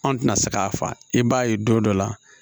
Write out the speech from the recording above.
An tɛna se k'a fa i b'a ye don dɔ la